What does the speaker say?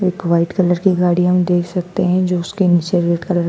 एक white colour की गाड़ी हम देख सकते हैं जो उसके नीचे रेड कलर --